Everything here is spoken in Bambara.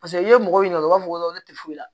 Paseke i ye mɔgɔw ɲininka u b'a fɔ ko ne tɛ foyi la